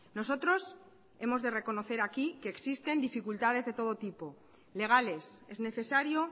nosotros hemos de reconocer aquí que existen dificultades de todo tipo legales es necesario